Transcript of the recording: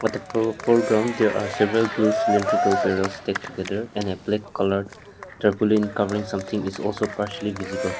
the fore foreground they are several blue cylindrical pair of stick together an a black coloured turbulen covering something is also partially visible.